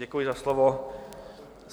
Děkuji za slovo.